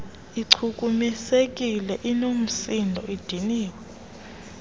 ichukumisekile inoomsindo idiniwe